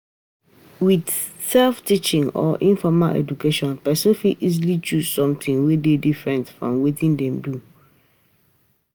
With self teaching or informal education person fit easily choose something wey dey differnt from wetin dem dey do